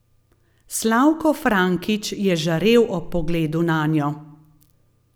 Slavko Frankič je žarel ob pogledu nanjo.